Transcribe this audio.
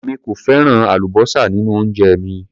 Èmi kò fẹ́ràn àlúbósà nínú oúnjẹ mi.